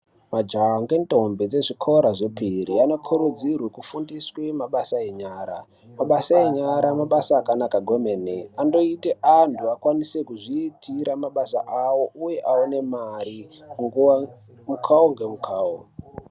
Majaha ngentombi dzezvikora zvephiri vanokurudzirwe kufundiswe mabasa enyara. Mabasa enyara, mabasa akanaka gwemene. Anoita antu akwanise kuzvitira mabasa awo, uye awone mari mukawo ngemukawo.